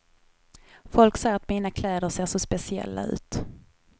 Folk säger att mina kläder ser så speciella ut.